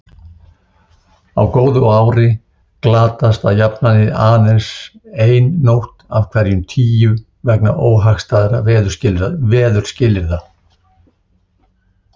Á góðu ári glatast að jafnaði aðeins ein nótt af hverjum tíu vegna óhagstæðra veðurskilyrða.